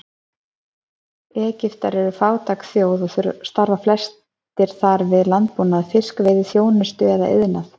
Egyptar eru fátæk þjóð og starfa flestir þar við landbúnað, fiskveiði, þjónustu eða iðnað.